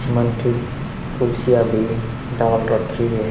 कुर्सियां भी डाल रखी है।